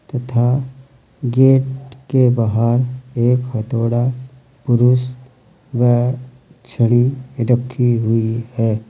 तथा गेट के बाहर एक हथोड़ा पुरुष व एक छड़ी रखी हुई है।